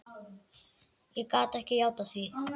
Ég gat ekki játað því.